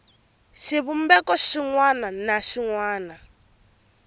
xivumbeko xin wana na xin